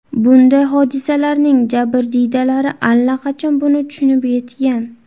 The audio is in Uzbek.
Bunday hodisalarning jabrdiydalari allaqachon buni tushunib yetgan.